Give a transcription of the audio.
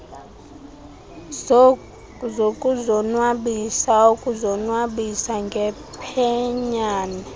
zokuzonwabisa ukuzonwabisa ngephenyane